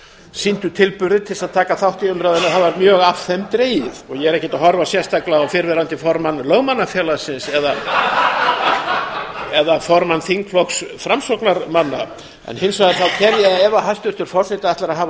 sýndu tilburði til að taka þátt í umræðunni það var mjög af þeim dregið og ég er ekkert sérstaklega að horfa á fyrrverandi formann lögmannafélagsins eða formann þingflokks framsóknarmanna en hins vegar tel ég ef hæstvirtur forseti ætlar að hafa